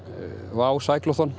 WOW